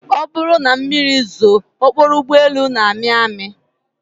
Ọ bụrụ na mmiri zoo, okporo ụgbọelu na-amị amị